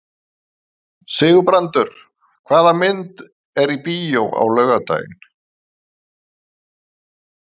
Sigurbrandur, hvaða myndir eru í bíó á laugardaginn?